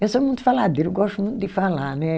Eu sou muito faladeira, eu gosto muito de falar, né?